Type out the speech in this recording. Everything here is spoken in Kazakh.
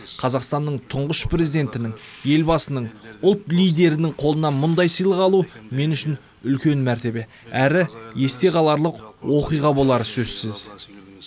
қазақстанның тұңғыш президентінің елбасының ұлт лидерінің қолынан мұндай сыйлық алу мен үшін үлкен мәртебе әрі есте қаларлық оқиға болары сөзсіз